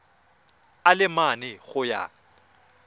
a le mane go ya